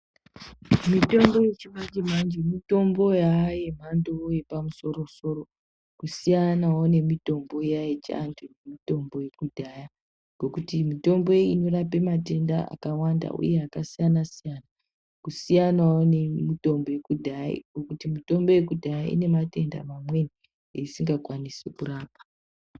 Mitombo yechimanje manje mitombo yaa yemhando yepamusoro soro kusiyanawo nemitombo iya yechivantu nemitombo yekudhaya ngekuti mitombo inorape matenda akawanda uye akasiyana-siyana kusiyanawo nemitombo yekudhaya ngekuti mitombo yekudhaya inematenda mamweni eisingakwanise kurapa.